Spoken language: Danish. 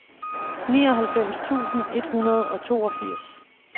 nioghalvfems tusind et hundrede og toogfirs